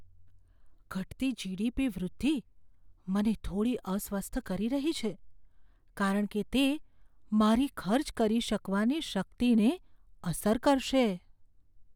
ઘટતી જી.ડી.પી. વૃદ્ધિ મને થોડી અસ્વસ્થ કરી રહી છે, કારણ કે તે મારી ખર્ચ કરી શકવાની શક્તિને અસર કરશે.